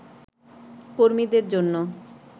কর্মীদের জন্য